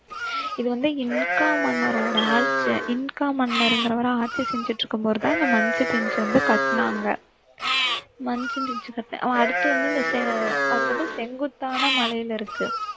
இது வந்து இன்கா மன்னரோட இன்கா மன்னர்ங்கிறவர் ஆட்சி செஞ்சுட்டு இருக்கும்போதுதான் அந்த மச்சு பிச்சு வந்து கட்டுனாங்க மச்சு பிச்சு அடுத்து வந்து இந்த செ~ அது வந்து செங்குத்தான மலையில இருக்கு